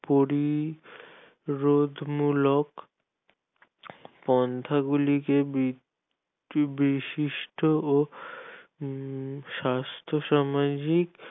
পরিরোধমূলক পন্থাগুলিকে বি ~ বিশিষ্ঠ ও স্বাস্থ্য সামাজিক নিপরিরোধমূলক